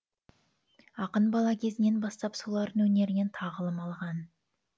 ақын бала кезінен бастап солардың өнерінен тағылым алған